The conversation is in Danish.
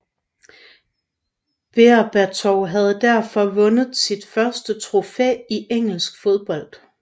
Berbatov havde derfor vundet sit første trofæ i engelsk fodbold